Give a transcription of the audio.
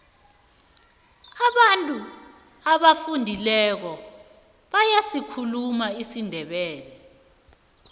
abantu abafundileko bayasikhuluma isindebele